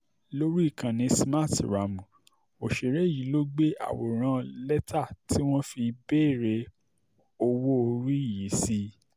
lórí ìkànnì smarthraàmù òṣèré yìí ló gbé àwòrán lẹ́tà tí wọ́n fi béèrè owó-orí yìí sí